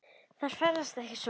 Þær ferðast ekki svona.